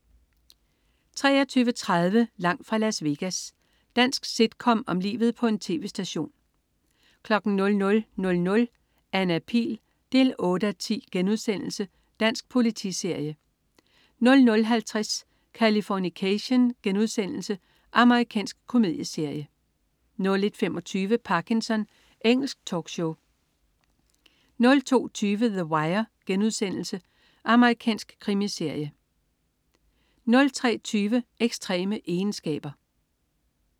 23.30 Langt fra Las Vegas. Dansk sitcom om livet på en tv-station 00.00 Anna Pihl 8:10* Dansk politiserie 00.50 Californication.* Amerikansk komedieserie 01.25 Parkinson. Engelsk talkshow 02.20 The Wire.* Amerikansk krimiserie 03.20 Ekstreme egenskaber